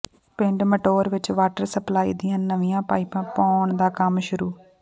ਪਿੰਡ ਮਟੌਰ ਵਿੱਚ water supply ਦੀਆਂ ਨਵੀਆਂ ਪਾਈਪਾਂ ਪਾਉਣ ਦਾ ਕੰਮ ਸ਼ੁਰੂ